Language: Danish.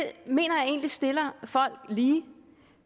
mener jeg egentlig stiller folk lige